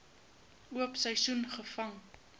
oop seisoen gevang